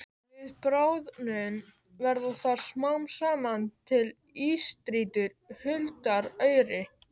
Við bráðnun verða þar smám saman til ísstrýtur huldar auri.